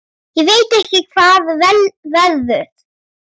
Ég veit ekki hvað verður.